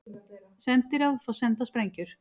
Sendiráð fá sendar sprengjur